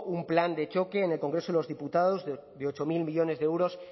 un plan de choque en el congreso de los diputados de ocho mil millónes de euros